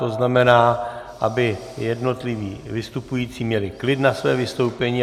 To znamená, aby jednotliví vystupující měli klid na své vystoupení.